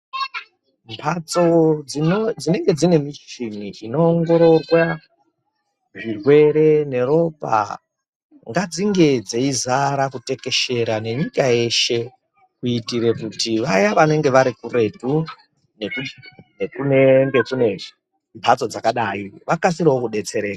Mbatso dzino dzinege dzine michini inoongororwa zvirwere neropa ngadzinge dzeizara kutekeshera nenyika yeshe kuitire kuti vaya vanenge vari kuretu nekunenge kune mbatso dzakadai vakasirewo kudetsereka.